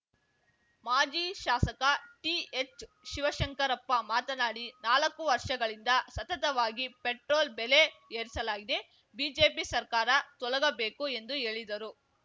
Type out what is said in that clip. ಮಾಜಿ ಶಾಸಕ ಟಿಎಚ್‌ಶಿವಶಂಕರಪ್ಪ ಮಾತನಾಡಿ ನಾಲಕ್ಕು ವರ್ಷಗಳಿಂದ ಸತತವಾಗಿ ಪೆಟ್ರೋಲ್‌ ಬೆಲೆ ಏರಿಸಲಾಗಿದೆ ಬಿಜೆಪಿ ಸರ್ಕಾರ ತೊಲಗಬೇಕು ಎಂದು ಹೇಳಿದರು